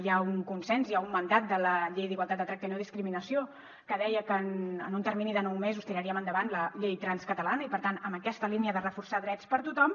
hi ha un consens hi ha un mandat de la llei d’igualtat de tracte i no discriminació que deia que en un termini de nou mesos tiraríem endavant la llei trans catalana i per tant amb aquesta línia de reforçar drets per a tothom